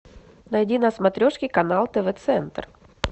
найди на смотрешке канал тв центр